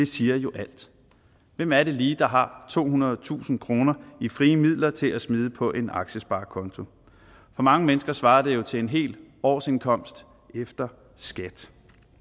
siger jo alt hvem er det lige der har tohundredetusind kroner i frie midler til at smide ind på en aktiesparekonto for mange mennesker svarer det jo til en hel årsindkomst efter skat